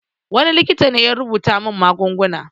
Wani likita ne ya rubuta min magunguna.